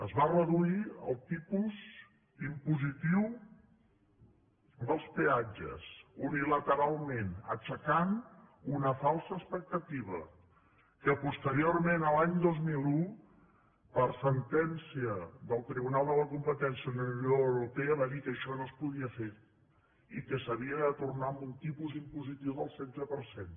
es va reduir el tipus impositiu dels peatges unilateralment aixecant una falsa expectativa que pos·teriorment l’any dos mil un per sentència del tribunal de la competència de la unió europea es va dir que això no es podia fer i que s’havia de tornar a un tipus impositiu del setze per cent